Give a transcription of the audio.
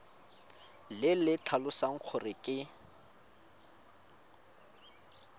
le le tlhalosang gore ke